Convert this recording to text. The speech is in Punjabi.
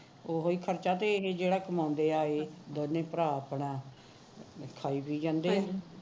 ਉਹੀ ਖਰਚਾ ਤੇ ਇਹ ਜਿਹੜਾ ਕਮਾਉਂਦੇ ਐ ਦੋਨੇ ਭਰਾ ਆਪਣਾ ਖਾਈ ਪੀਈ ਜਾਂਦੇ ਹੈ